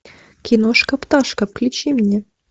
киношка пташка включи мне